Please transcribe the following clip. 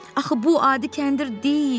Axı bu adi kəndir deyil!